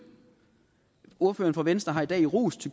ordføreren for venstre har i dag rost